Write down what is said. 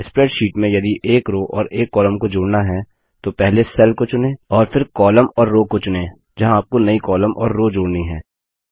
spreadsheet में यदि एक रो और एक कॉलम को जोड़ना है तो पहले सेल को चुनें और फिर कॉलम और रो को चुनें जहाँ आपको नई कॉलम और रो जोड़नी हैं